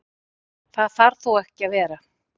Það þarf þó ekki að vera.